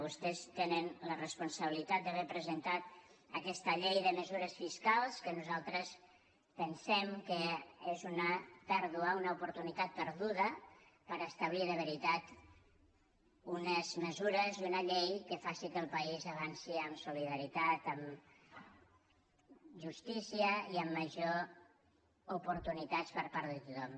vostès tenen la responsabilitat d’haver presentat aquesta llei de mesures fiscals que nosaltres pensem que és una oportunitat perduda per establir de veritat unes mesures i una llei que facin que el país avanci amb solidaritat amb justícia i amb majors oportunitats per part de tothom